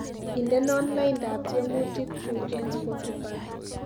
Indenon laindab tyemutikchu eng spotifi